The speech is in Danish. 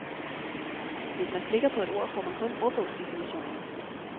Hvis man klikker på et ord, får man kun ordbogsdefinitionen.